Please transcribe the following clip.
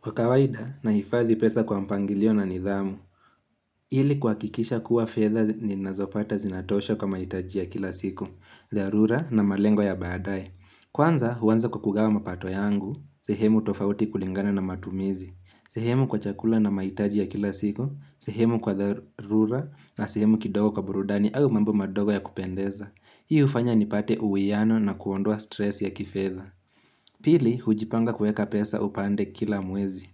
Kwa kawaida nahifadhi pesa kwa mpangilio na nidhamu, ili kuwakikisha kuwa fedha ninazopata zinatosha kwa maitaji ya kila siku, dharura na malengo ya baadaye. Kwanza huwanza kwa kugawa mapato yangu, sehemu tofauti kulingana na matumizi, sehemu kwa chakula na maitaji ya kila siku, sehemu kwa dharura na sehemu kidogo kwa burudani au mambo madogo ya kupendeza. Hii hufanya nipate uwiano na kuondoa stress ya kifedha. Pili, hujipanga kuweka pesa upande kila mwezi.